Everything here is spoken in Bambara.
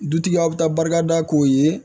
Dutigi aw bɛ taa barika da k'o ye